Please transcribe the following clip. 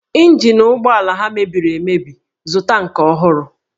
Ịnjin ụgbọala ha mebiri emebi, zụta nke ọhụrụ!